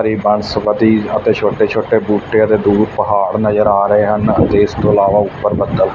ਬਨਸਪਤੀ ਅਤੇ ਛੋਟੇ ਛੋਟੇ ਬੂਟੇ ਅਤੇ ਦੂਰ ਪਹਾੜ ਨਜ਼ਰ ਆ ਰਹੇ ਹਨ ਅਤੇ ਇਸ ਤੋਹ ਇਲਾਵਾ ਉਪਰ ਬਦਲ।